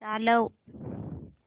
चालव